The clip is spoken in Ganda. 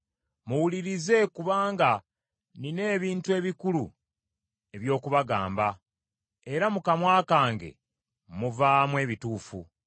Muwulirize kubanga nnina ebintu ebikulu eby’okubagamba, era mu kamwa kange muvaamu ebituufu.